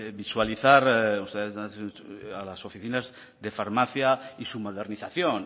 visualizar a las oficinas de farmacia y su modernización